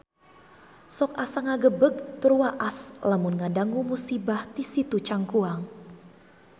Sok asa ngagebeg tur waas lamun ngadangu musibah di Situ Cangkuang